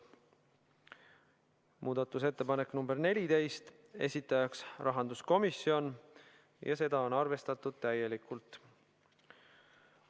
Muudatusettepanek nr 14, esitajaks rahanduskomisjon ja seda on arvestatud täielikult.